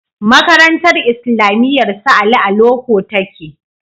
Makarantar islamiyar su Ali a loko take